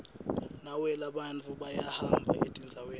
nawehla bantfu bayahamba etindzaweni